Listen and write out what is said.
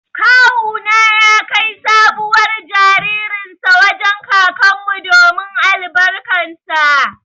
Kawu na ya kai sabuwar jaririn sa wajen kakan mu domin albarkan sa.